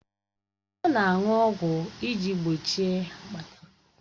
Ọ na-aṅụ ọgwụ iji gbochie akpata